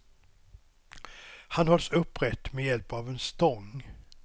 Han hålls upprätt med hjälp av en stång.